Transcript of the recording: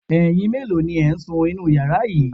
Ẹyin mélòó ni ẹ̀ ń sun inú yàrá yìí?